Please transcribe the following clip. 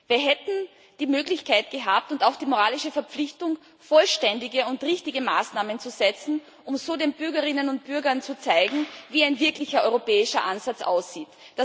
Wir hätten die Möglichkeit und auch die moralische Verpflichtung gehabt, vollständige und richtige Maßnahmen zu setzen, um so den Bürgerinnen und Bürgern zu zeigen, wie ein wirklicher europäischer Ansatz aussieht.